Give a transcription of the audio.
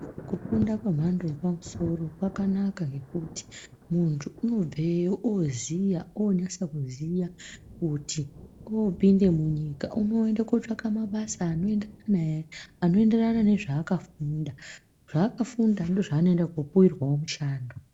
Kufunda kwemhando yepamusoro kwakanaka ngekuti muntu unobveyo oziya, onasekuziya kuti opinde munyika unoende kotsvake mabasa anoenderana naye, anoenderana nezvaakafunda zvaakafunda ndzivo zvaanoenderawo kopuwirwawo mushando.